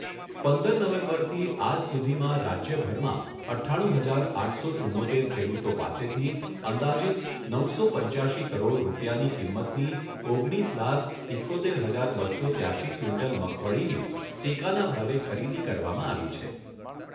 પંદર નવેમ્બરથી આજ સુધીમાં રાજ્યભરમાં અઠ્ઠાણું હજાર આઠસો ચુંમોતેર ખેડૂતો પાસેથી અંદાજિત નવસો પંચ્યાશી કરોડ રૂપિયાની કિંમતની ઓગણીસ લાખ ઈકોતેર હજાર બસો ત્યાશી ક્વિન્ટલ મગફળીની ટેકાના ભાવે ખરીદી કરવામાં આવી છે.